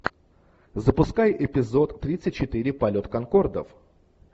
запускай эпизод тридцать четыре полет конкордов